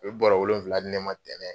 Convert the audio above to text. U ye bɔrɔ wolonwula di ne ma tɛnɛ